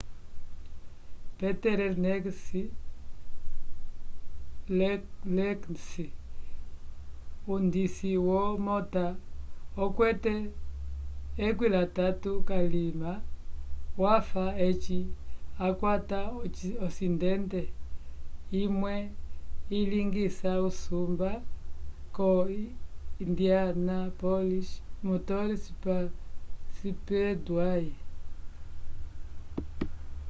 peter lenz undisi womota okwete 13 k'alima wafa eci wakwata osidente imwe ilingisa usumba ko indianapolis motor speedway